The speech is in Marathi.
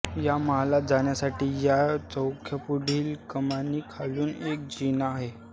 या महालात जाण्यासाठी या चौकापुढील कमानी खालून एक जिना आहे